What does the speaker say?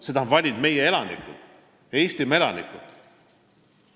Selle on valinud meie Eestimaa elanikud.